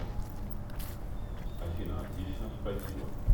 афина отлично спасибо